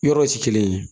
Yɔrɔw ti kelen ye